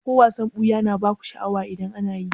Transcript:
Ko wasan ɓuya na baku sha'awa idan ana yi?